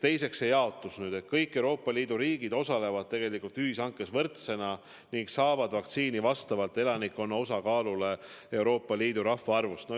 Teiseks, mis puutub jaotusse, siis kõik Euroopa Liidu riigid osalevad ühishankes võrdsetena ning saavad vaktsiini vastavalt elanikkonna osakaalule Euroopa Liidu rahvaarvus.